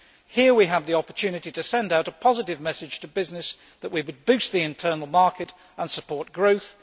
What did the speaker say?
Here we have the opportunity to send out a positive message to business that we will boost the internal market and support growth.